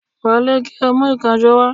Wọlé, kí o mu ìkànsó wa